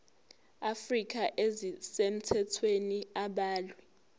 afrika ezisemthethweni abalwe